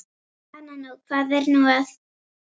Hana nú, hvað er nú að.